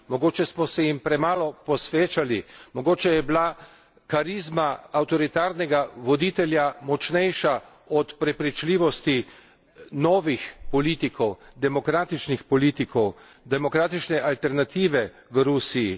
Mogoče smo se jim premalo posvečali, mogoče je bila karizma avtoritarnega voditelja močnejša od prepričljivosti novih politikov, demokratičnih politikov, demokratične alternative v Rusiji.